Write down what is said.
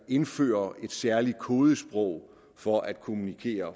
indføre et særligt kodesprog for at kommunikere